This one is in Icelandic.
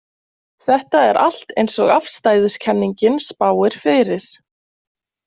Þetta er allt eins og afstæðiskenningin spáir fyrir.